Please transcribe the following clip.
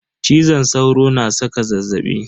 Cizon sauro na saka zazzaɓi.